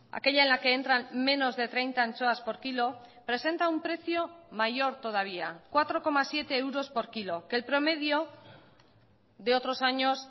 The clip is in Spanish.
aquella en la que entran menos de treinta anchoas por kilo presenta un precio mayor todavía cuatro coma siete euros por kilo que el promedio de otros años